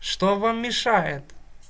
что вам мешает